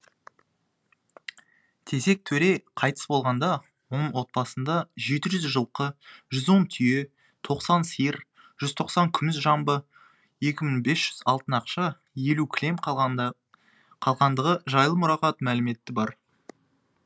тезек төре қайтыс болғанда оның отбасында жеті жүз жылқы жүз он түйе тоқсан сиыр жүз тоқсан күміс жамбы екі мың бес жүз алтын ақша елу кілем қалғандығы жайлы мұрағат мәліметі бар